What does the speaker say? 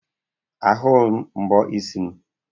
Ahughị m mbọ isi m.